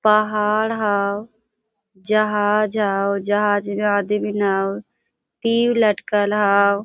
पहाड़ होव जहाज होव जहाज में आदमीन होव तीर लटकल होव।